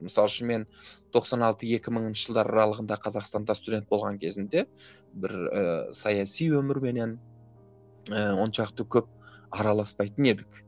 мысалы үшін мен тоқсан алты екі мыңыншы жылдар аралығында қазақстанда студент болған кезімде бір ііі саяси өмірменен ііі оншалықты көп араласпайтын едік